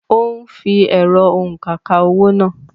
Òún fí ẹ̀rọ-òunkà ka owó náà